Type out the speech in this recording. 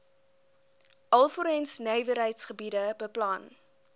alvorens nywerheidsgebiede beplan